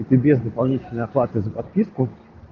без дополнительной оплаты за подписку